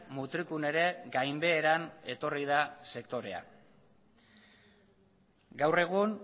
mutrikun ere gainbeheran etorri da sektorea gaur egun